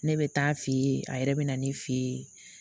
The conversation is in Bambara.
Ne bɛ taa fe ye a yɛrɛ bɛ na ne fe yen